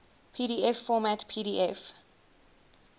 pdf format pdf